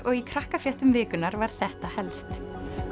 og í Krakkafréttum vikunnar var þetta helst